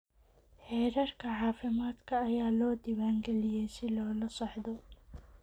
Heerarka caafimaadka ayaa loo diiwaan galiyay si loola socdo.